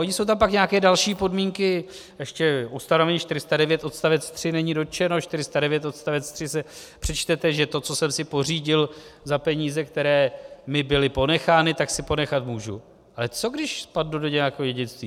Ony jsou tam pak nějaké další podmínky, ještě ustanovení 409 odstavec 3 není dotčeno, 409 odstavec 3 si přečtete, že to, co jsem si pořídil za peníze, které mi byly ponechány, tak si ponechat můžu, ale co když spadnu do nějakého dědictví?